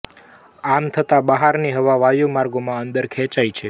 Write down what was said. આમ થતાં બહારની હવા વાયુ માર્ગોમાં અંદર ખેંચાય છે